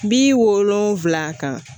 Bi wolonfila kan